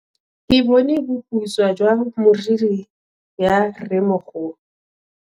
Ke bone boputswa jwa meriri ya rremogolo.